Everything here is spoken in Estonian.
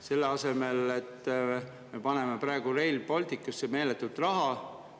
Selle asemel me paneme praegu Rail Balticusse meeletult raha.